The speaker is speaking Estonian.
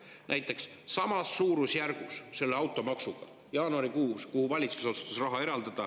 Näiteks, kuhu valitsus otsustas samas suurusjärgus automaksuga raha eraldada jaanuarikuus?